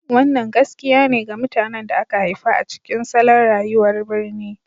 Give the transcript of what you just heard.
Wannan gaskiya ne ga mutanen da aka haifa a cikin salon rayuwar birni.